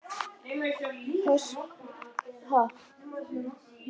Höskuldur: Hvernig munið þið mæta þessum kostnaði?